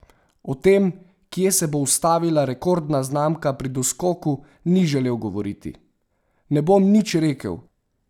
O tem, kje se bo ustavila rekordna znamka pri doskoku, ni želel govoriti: "Ne bom nič rekel.